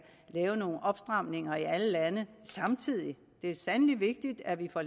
lave nogle opstramninger i alle lande samtidig det er sandelig vigtigt at vi får